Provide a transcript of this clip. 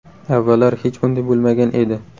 Avvallari hech bunday bo‘lmagan edi.